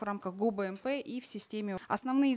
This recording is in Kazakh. в рамках гобмп и в системе основные